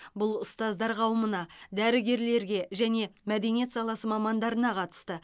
бұл ұстаздар қауымына дәрігерлерге және мәдениет саласы мамандарына қатысты